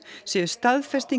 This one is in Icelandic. séu staðfesting